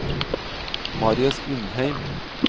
Marius Undheim